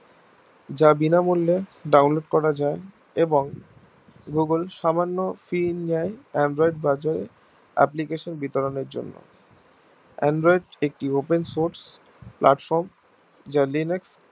যা বিনা মূল্যে download করা যাই এবং google সামান্য fee নেয় android বাজারে application বিতরণের জন্যে android একটি open source platform যা linux